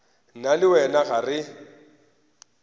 nna le wena ga re